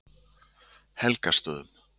Helgastöðum